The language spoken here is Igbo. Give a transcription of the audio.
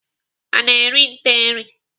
Ana eri nte eri?